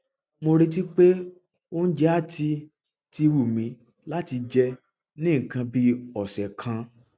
mo retí pé oúnjẹ á ti ti wù mí láti jẹ ní nǹkan bí ọsẹ kan